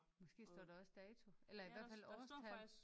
Måske står der også dato eller i hvert fald årstal